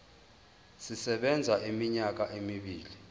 sisebenza iminyaka emibili